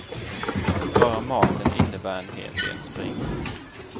Bara maten innebär en hel del spring.